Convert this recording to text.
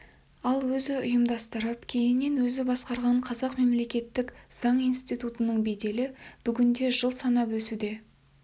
ал өзі ұйымдастырып кейіннен өзі басқарған қазақ мемлекеттік заң институтының беделі бүгінде жыл санап өсе түсуде